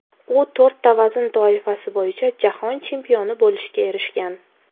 U to‘rtta vazn toifasi bo‘yicha jahon chempioni bo‘lishga erishgan.